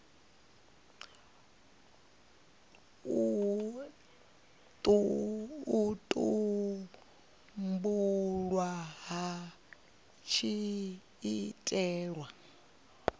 u tumbulwa hu tshi itelwa